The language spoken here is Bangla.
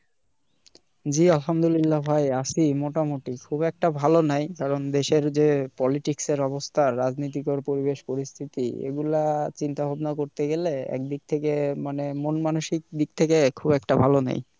জ্বি আলহামদুলিল্লাহ ভাই আছি মোটা মুটি খুব একটা ভালো নাই কারণ দেশের যে politics এর অবস্থা রাজনৈতিকদের পরিবেশ পরিস্থিতি এগুলা চিন্তা ভাবনা করতে গেলে এক দিক থেকে মানে মন মানসিকতা দিক থেকে খুব একটা ভালো নেই